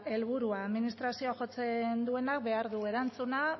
helburua administraziora jotzen duenak erantzuna